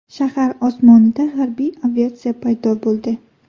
Shahar osmonida harbiy aviatsiya paydo bo‘ldi.